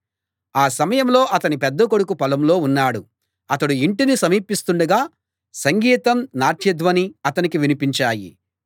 ఆ సమయంలో అతని పెద్ద కొడుకు పొలంలో ఉన్నాడు అతడు ఇంటిని సమీపిస్తుండగా సంగీతం నాట్యధ్వని అతనికి వినిపించాయి